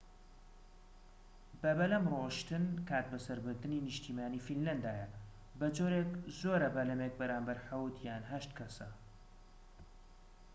بەبەلەم رۆشتن کاتبەسەربردنی نیشتیمانیی فینلەندایە بەجۆرێك زۆرە بەلەمێك بەرامبەر حەوت یان هەشت کەسە